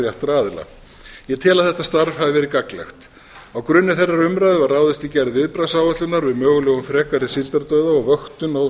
réttra aðila ég tel að þetta starf hafi verið gagnlegt á grunni þeirrar umræðu var ráðist í gerð viðbragðsáætlunar um mögulegan frekari síldardauða og vöktun á